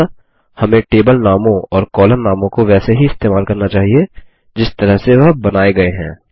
अतः हमें टेबल नामों और कॉलम नामों को वैसे ही इस्तेमाल करना चाहिए जिस तरह से वह बनाये गये हैं